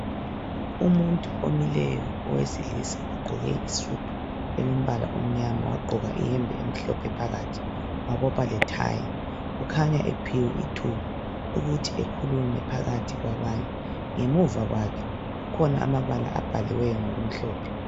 Umuntu omileyo owesilisa ogqoke isudu elombala omnyama wagqoka iyembe emhlophe phakathi wabopha lethayi kukhanya ephiwe ithuba ukuthi ekhulume phakathi kwabanye ngemuva kwakhe kukhona amabala abhaliweyo ngokumhlophe.